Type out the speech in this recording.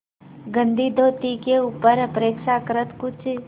गंदी धोती के ऊपर अपेक्षाकृत कुछ